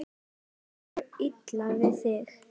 Öllum er illa við þig!